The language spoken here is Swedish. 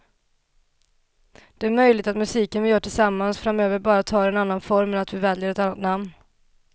Det är möjligt att musiken vi gör tillsammans framöver bara tar en annan form eller att vi väljer ett annat namn.